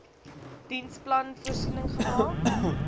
diensplan voorsiening gemaak